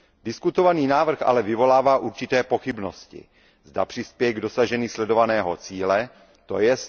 Diskutovaný návrh ale vyvolává určité pochybnosti, zda přispěje k dosažení sledovaného cíle, tj.